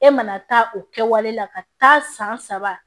E mana taa o kɛwale la ka taa san saba